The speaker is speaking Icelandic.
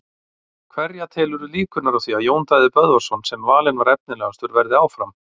Hverja telurðu líkurnar á því að Jón Daði Böðvarsson sem valinn var efnilegastur verði áfram?